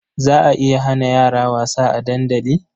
Za a iya hana yara wasa a dandali?